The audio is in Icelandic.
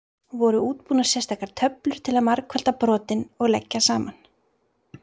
Voru útbúnar sérstakar töflur til að margfalda brotin og leggja saman.